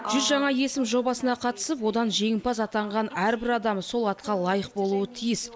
жүз жаңа есім жобасына қатысып одан жеңімпаз атанған әрбір адам сол атқа лайық болуы тиіс